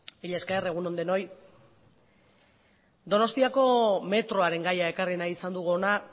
mila esker egun on denoi donostiako metroaren gaia ekarri nahi izan dugu hona